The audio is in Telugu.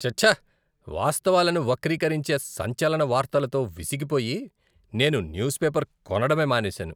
ఛ ఛ, వాస్తవాలను వక్రీకరించే సంచలన వార్తలతో విసిగిపోయి నేను న్యూస్ పేపర్ కొనడమే మానేశాను.